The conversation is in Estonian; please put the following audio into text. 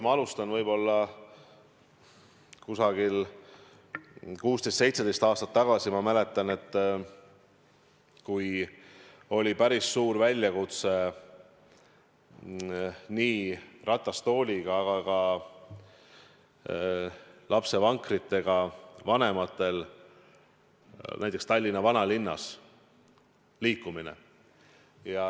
Ma alustan sellest, et 16–17 aastat tagasi, ma mäletan, oli päris suur väljakutse ratastooliga, aga ka lapsevankriga näiteks Tallinna vanalinnas liikumine.